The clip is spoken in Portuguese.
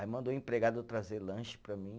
Aí mandou o empregado trazer lanche para mim.